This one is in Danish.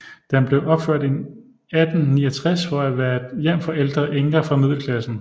Den blev opført i 1869 for at være et hjem for ældre enker fra middelklassen